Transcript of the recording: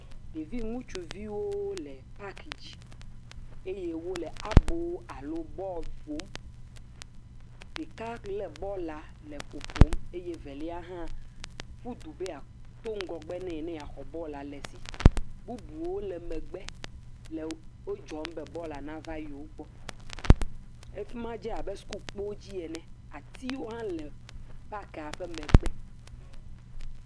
Ɖevi ŋutsuviwo le paki dzi eye wole abo alo bɔlu ƒom, ɖeka lé bɔla le ƒoƒom eye velia hã ƒu du ɖo be yeaxɔ bɔlua aƒo, bubuwo le megbe le wo dzɔm be bɔlua nava yewogbɔ. Edze abe sukukpo dzi ene eye atiwo hã le afi ma.